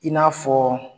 I n'a fɔ